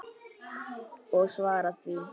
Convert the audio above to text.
Og svara því.